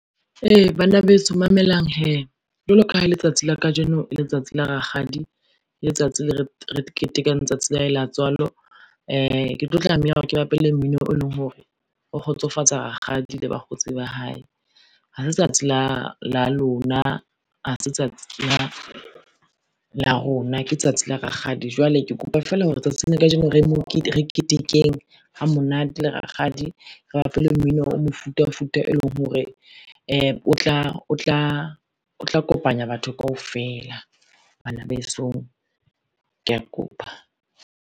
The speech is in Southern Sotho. Ee, bana beso mamelang hee, jwalo ka ha letsatsi la kajeno letsatsi la rakgadi re ketekang tsatsi la hae la tswalo. Ke tlo tlameha hore ke bapale mmino, e leng hore, o kgotsofatsa rakgadi le bakgotsi ba hae. Ha se tsatsi la lona, ha se tsatsi la rona ke tsatsi la rakgadi, jwale ke kopa fela hore tsatsing la kajeno re ketekeng ha monate le rakgadi. Re bapeleng mmino o mofuta mofuta, e leng hore o tla kopanya batho kaofela bana besong ke a kopa.